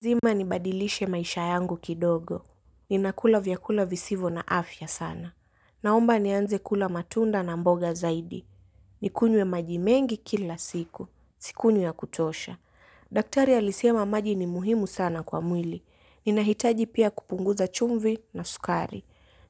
Lazima nibadilishe maisha yangu kidogo. Ninakula vyakula visivyo na afya sana. Naomba nianze kula matunda na mboga zaidi. Nikunywe maji mengi kila siku. Sikunywi ya kutosha. Daktari alisema maji ni muhimu sana kwa mwili. Ninahitaji pia kupunguza chumvi na sukari.